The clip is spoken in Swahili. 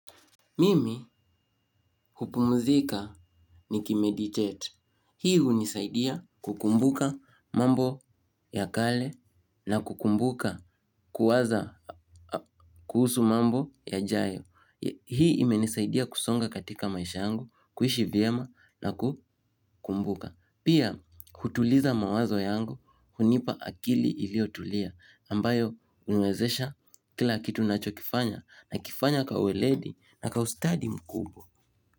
Mimi hupumuzika niki meditate. Hii hunisaidia kukumbuka mambo ya kale na kukumbuka kuwaza kuhusu mambo ya jayo. Hii imenisaidia kusonga katika maisha yangu, kuishi vyema na kukumbuka. Pia hutuliza mawazo yangu hunipa akili ilio tulia ambayo huniwezesha kila kitu nacho kifanya na kifanya kwa weledi na kawustadi mkubo.